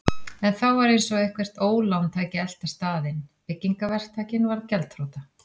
En þá var eins og eitthvert ólán tæki að elta staðinn: Byggingaverktakinn varð gjaldþrota.